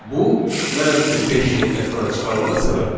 Bu -5-in ekrana çıxarılma səbəbidir.